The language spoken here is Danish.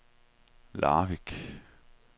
Larvik